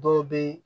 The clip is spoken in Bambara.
Dɔw bɛ